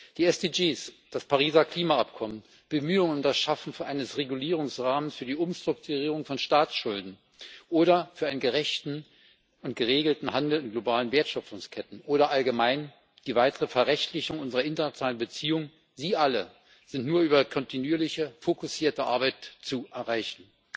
Die SDGs, das Pariser Klimaschutzübereinkommen, Bemühungen um das Schaffen eines Regulierungsrahmens für die Umstrukturierung von Staatsschulden oder für einen gerechten und geregelten Handel in globalen Wertschöpfungsketten oder allgemein die weitere Verrechtlichung unserer internationalen Beziehungen sie alle sind nur über kontinuierliche fokussierte Arbeit zu erreichen.